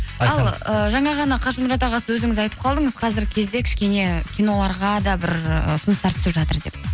ал ы жаңа ғана қажымұрат аға сіз өзіңіз айтып қалдыңыз қазіргі кезде кішкене киноларға да бір ы ұсыныстар түсіп жатыр деп